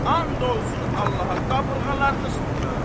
And olsun Allaha qabırğalarını sındıraram.